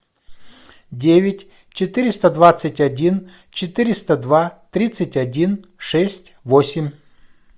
девять четыреста двадцать один четыреста два тридцать один шесть восемь